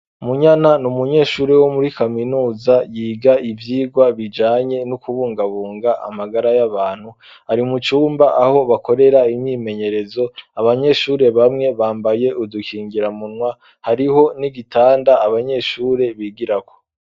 Munyana n'umunyeshuri wo muri kaminuza yiga ivyigwa bijanye no kubungabunga amagara y'abantu ari mu cumba aho bakorera imyimenyerezo abanyeshuri bamwe bambaye udukingira munwa hariho n'igitanda abanyeshuri bigirako.